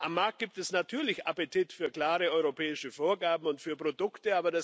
Am Markt gibt es natürlich Appetit für klare europäische Vorgaben und für Produkte.